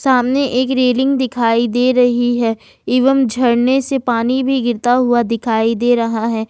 सामने एक रेलिंग दिखाई दे रही है एवं झरने से पानी भी गिरता हुआ दिखाई दे रहा है।